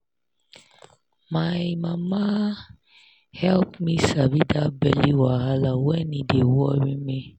my mama help me sabi that belly wahala when e dey worry me